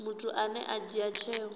muthu ane a dzhia tsheo